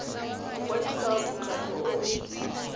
go kwadisa mokgatlho o o